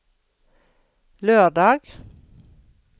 lørdag